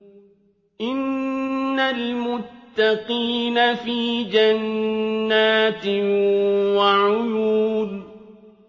إِنَّ الْمُتَّقِينَ فِي جَنَّاتٍ وَعُيُونٍ